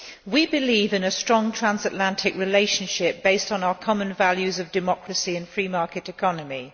We believe in a strong transatlantic relationship based on our common values of democracy and the free market economy.